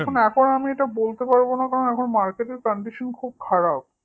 এখন আমি এটা বলতে পারবো না কারণ market র condition খুব খারাপ